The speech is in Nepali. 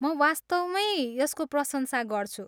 म वास्तवमैँ यसको प्रशंसा गर्छु।